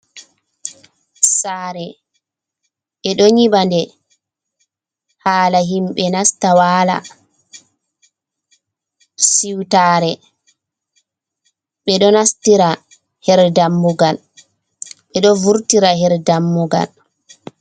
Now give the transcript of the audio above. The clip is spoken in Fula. Saare, e ɗo nyiɓa nde hala himɓe nasta waala. Siwtaare, ɓe ɗo nastira her dammugal ɓe ɗo vurtira her dammugal.